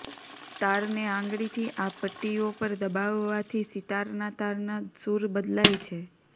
તારને આંગળીથી આ પટ્ટીઓ પર દબાવવાથી સિતારના તારના સૂર બદલાય છે